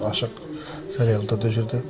ашық жариялы түрде жүрді